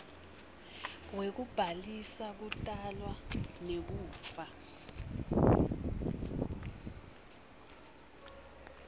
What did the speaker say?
wekubhalisa kutalwa nekufa